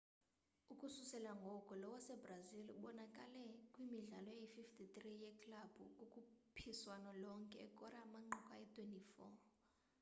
ukususela ngoko lo wasebrazil ubonakale kwimidlalo eyi-53 yeklabhu kukhuphiswano lonke ekora amanqaku ayi-24